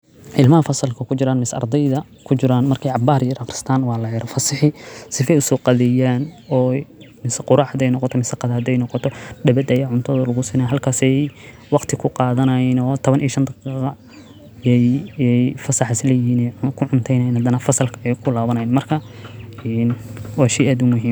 Ilmah fasalka ku jiraan mise ardayda ku jiraan markay cabbari yar akhristaan waa la yero fasixi si fi usoo qadiyaan oo mise quruxadeyno koto miisa qodadeyno koto dhabadeye cunto lugusine halkase waqti ku qaadanayno tawan iyo shaan daqiiqa iyo fasax isla yima ku cumtaynaya dhan fasalkay ku laabanayn. Marka hiin oo shey adu muhiim.